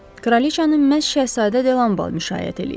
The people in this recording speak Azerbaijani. Kraliçanı məhz Şəhzadə Delambal müşayiət eləyib.